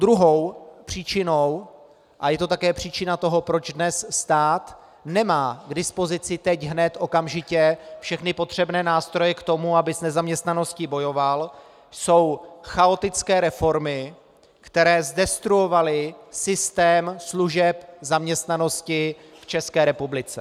Druhou příčinou - a je to také příčina toho, proč dnes stát nemá k dispozici teď hned okamžitě všechny potřebné nástroje k tomu, aby s nezaměstnaností bojoval - jsou chaotické reformy, které zdestruovaly systém služeb zaměstnanosti v České republice.